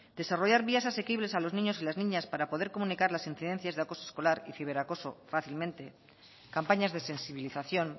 desarrollar vías asequibles a los niños y las niñas para poder comunicar las incidencias de acoso escolar y ciberacoso fácilmente campañas de sensibilización